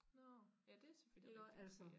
Nårh ja det selvfølgelig rigtig nok ja